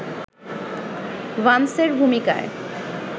ভান্সের ভূমিকায়